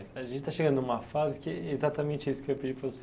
A gente está chegando numa fase que é exatamente isso que eu ia pedir para você.